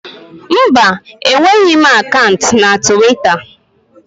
Mba, enweghị m akant na tiwita.